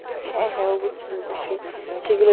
হ্যাঁ হ্যাঁ অবশ্যই অবশ্যই, সেইগুলো